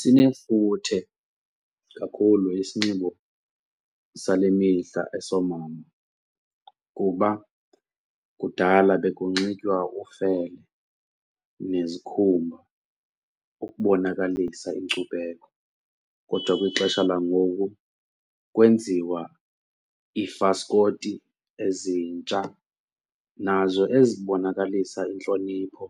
Sinefuthe kakhulu isinxibo sale mihla esoomama kuba kudala bekunoxitywa ufele nezikhumba ukubonakalisa inkcubeko kodwa kwixesha langoku kwenziwa iifaskoti ezintsha nazo ezibonakalisa intlonipho